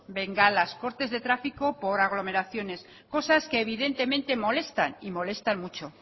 bengalas cortes de tráfico por aglomeraciones cosas que evidentemente molestan y molestan mucho